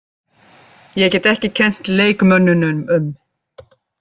Ég get ekki kennt leikmönnunum um.